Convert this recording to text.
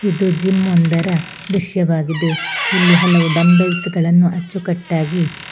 ಇದು ಜಿಮ್ ಒಂದರ ದೃಶ್ಯ ವಾಗಿದೆ ಇಲ್ಲಿ ಹಲವು ಡಂಬಲ್ಸ್ ಗಳನ್ನು ಅಚ್ಚು ಕಟ್ಟಾಗಿ--